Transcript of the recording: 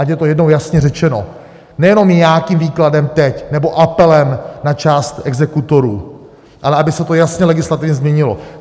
Ať je to jednou jasně řečeno, nejenom nějakým výkladem teď nebo apelem na část exekutorů, ale aby se to jasně legislativně změnilo.